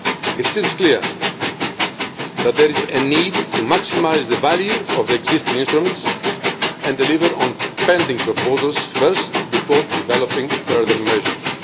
It seems clear that there is a need to maximise the value of existing instruments and to deliver on pending proposals first, before developing further measures.